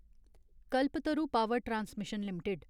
Kalpataru power transmission limited